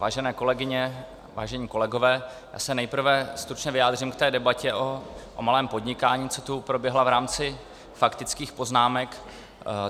Vážené kolegyně, vážení kolegové, já se nejprve stručně vyjádřím k té debatě o malém podnikání, která tu proběhla v rámci faktických poznámek.